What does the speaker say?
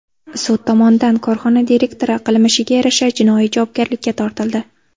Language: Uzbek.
Sud tomonidan korxona direktori qilmishiga yarasha jinoiy javobgarlikka tortildi.